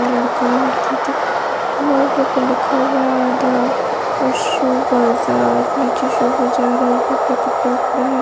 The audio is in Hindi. लड़का लड़की के लिखा हुआ है आधा और शू बाजार नीचे शू बाजार है ऊपर कपड़ा वपडा है।